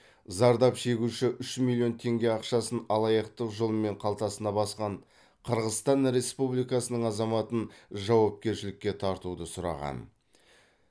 зардап шегуші үш миллион теңге ақшасын алаяқтық жолмен қалтасына басқан қырғызстан республикасының азаматын жауапкершілікке тартуды сұраған